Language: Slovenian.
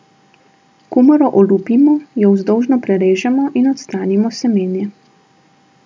Kumaro olupimo, jo vzdolžno prerežemo in odstranimo semenje.